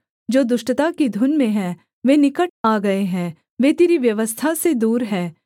जो दुष्टता की धुन में हैं वे निकट आ गए हैं वे तेरी व्यवस्था से दूर हैं